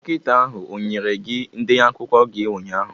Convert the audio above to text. Dọkịta ahụ o nyere gị ndenye ọgwụ gi ụnyaahụ?